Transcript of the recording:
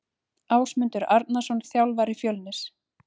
Ásmundur Arnarsson þjálfari Fjölnis.